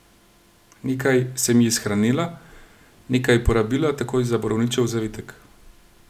Nekaj sem ji shranila, nekaj porabila takoj za borovničev zavitek.